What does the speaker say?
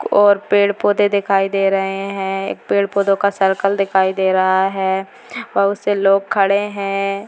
और पेड़ पौधे दिखाई दे रहे हैं एक पेड़ पौधो का सर्कल दिखाई दे रहा है और उससे लोग खड़े हैं।